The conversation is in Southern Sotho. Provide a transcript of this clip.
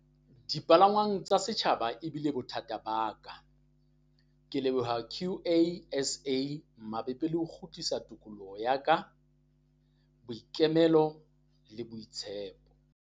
"Dipalangwang tsa setjhaba ebile bothata ba ka. "Ke leboha QASA mabapi le ho kgutlisa tokoloho ya ka, boikemelo le boitshepo."